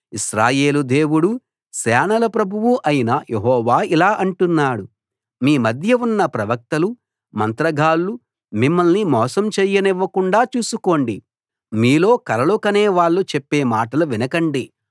ఇశ్రాయేలు దేవుడూ సేనల ప్రభువూ అయిన యెహోవా ఇలా అంటున్నాడు మీ మధ్య ఉన్న ప్రవక్తలు మంత్రగాళ్ళు మిమ్మల్ని మోసం చెయ్యనివ్వకుండా చూసుకోండి మీలో కలలు కనే వాళ్ళు చెప్పే మాటలు వినకండి